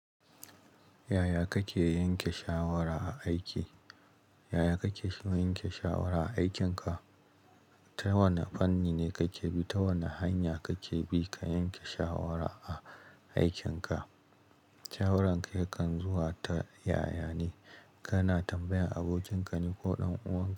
Yaya kake yanke shawara a aiki? Yaya kake sh- yanke shawara a aikinka? Ta wane fanni ne kake bi? Ta wane hanya kake bi ka yanke shawara a aikinka? Shawaran ka yakan zuwa ta yaya ne? Kana tambayan abokin ka ne ko ɗan uwa?